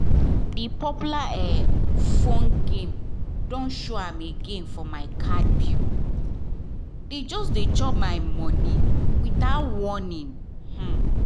that popular um phone game don show again for my card bill — dey just dey chop my money without warning[um]